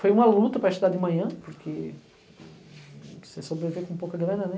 Foi uma luta para estudar de manhã, porque você sobrevive com pouca grana, né?